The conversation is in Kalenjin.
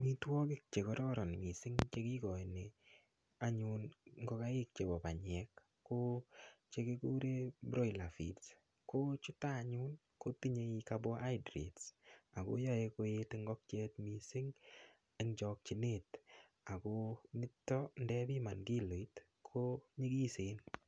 Amitwokik chekororon anyun mising chekikoin anyun ngokaik chebo banyek ko chekikuren broiller feeds, ko chuto any kotinye carbohydrates ak koyoe koet ingolkiet mising en chokyinet ak ko nito ndebiman kiloit ko nyikisen.